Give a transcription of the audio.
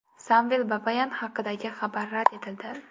Samvel Babayan haqidagi xabar rad etildi.